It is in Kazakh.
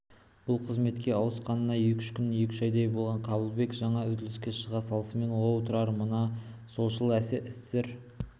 бұл қызметке ауысқанына екі үш айдай болған қабылбек жаңа үзіліске шыға салысымен оу тұрар мына солшыл-эсер